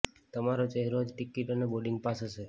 તમારો ચહેરો જ ટિકિટ અને બોર્ડિંગ પાસ હશે